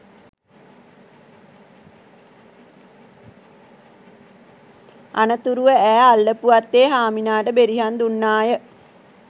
අනතුරුව ඈ අල්ලපු වත්තේ හාමිනාට බෙරිහන් දුන්නාය